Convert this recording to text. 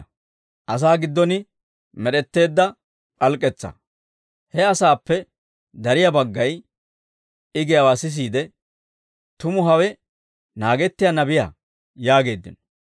He asaappe dariyaa baggay I giyaawaa sisiide, «Tumu hawe naagettiyaa Nabiyaa» yaageeddino.